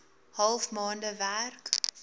half maande werk